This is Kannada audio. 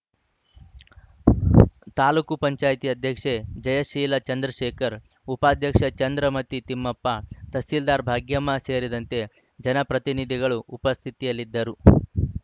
ತಾಲೂಕು ಪಂಚಾಯಿತಿ ಅಧ್ಯಕ್ಷೆ ಜಯಶೀಲ ಚಂದ್ರಶೇಖರ್‌ ಉಪಾಧ್ಯಕ್ಷೆ ಚಂದ್ರಮತಿ ತಿಮ್ಮಪ್ಪ ತಹಸೀಲ್ದಾರ್‌ ಭಾಗ್ಯಮ್ಮ ಸೇರಿದಂತೆ ಜನಪ್ರತಿನಿಧಿಗಳು ಉಪಸ್ಥಿತಿಯಲ್ಲಿದರು